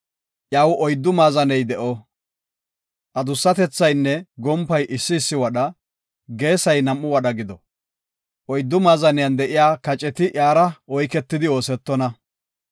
Iyaw oyddu maazaney de7o. Adussatethaynne gompay issi issi wadha, geesay nam7u wadha gido. Oyddu maazaniyan de7iya kaceti iyara oyketidi oosetonna.